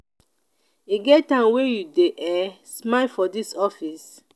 e get time wey you dey um smile for dis office?